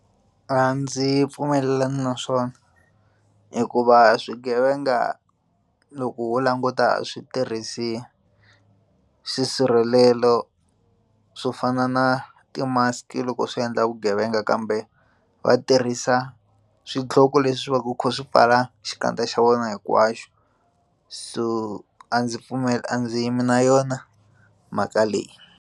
A ndzi pfumelelani na swona hikuva swigevenga loko ho languta a switirhisi swisirhelelo swo fana na ti mask loko swi endla vugevenga kambe va tirhisa swidloko leswi va ku kha swi pfala xikandza xa vona hinkwaxo so a ndzi pfumeli, a ndzi yimi na yona mhaka leyi.